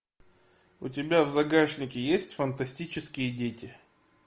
у тебя в загашнике есть фантастические дети